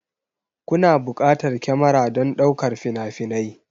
Kuna buƙatar kyamara don ɗaukar fina-finai